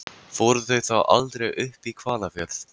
Fóru þau þá aldrei upp í Hvalfjörð?